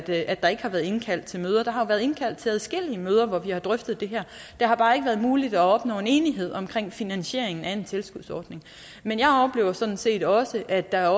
at der ikke har været indkaldt til møder der har været indkaldt til adskillige møder hvor vi har drøftet det her det har bare ikke været muligt at opnå en enighed omkring finansieringen af en tilskudsordning men jeg oplever sådan set også at der